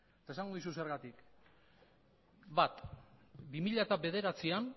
eta esango dizut zergatik bat bi mila bederatzian